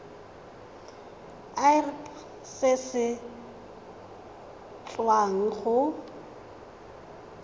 irp se se tswang go